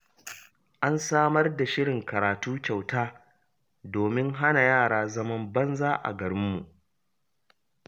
An samar da shirin karatu kyauta domin hana yara zaman banza a garinmu